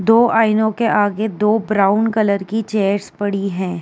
दो आइनों के आगे दो ब्राउन कलर की चेयरस पड़ी हैं।